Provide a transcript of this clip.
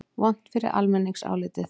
Vont fyrir almenningsálitið?